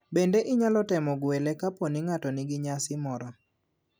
Bende inyalo time gwelo ka poni ng'ato ni gi nyasi moro.